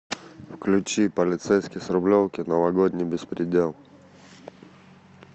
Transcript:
включи полицейский с рублевки новогодний беспредел